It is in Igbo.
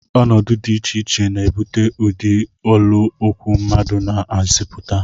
Ọnọdụ dị iche iche na-ebute ụdị olu okwu mmadụ na-ezipụta